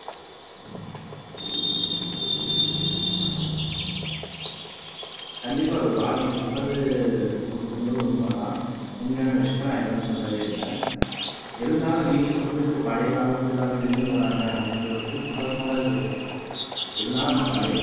கண்டிப்பா ரூபாநீங்க சொல்றது, நூத்துக்கு நூறு உண்மைதான் உண்மையான விஷயம் நான் இல்லைன்னு சொல்லவே இல்லை இருந்தாலும் நீங்க சொல்றது பழைய காலத்துக்கு எல்லாரும் திரும்பி வராங்க அப்படின்ற பட்சத்துல சந்தோஷமாதான் இருக்கு ஒரு பக்கம் இருந்தாலும் பழைய